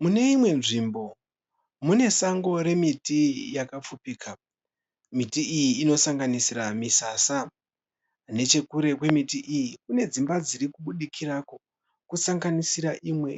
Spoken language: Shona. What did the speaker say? Mune imwe nzvimbo mune sango remiti yakapfupika. Miti iyi inosanganisira misasa. Nechekure kwemiti iyi kune dzimba dziri kubudikirako kusanganisira imwe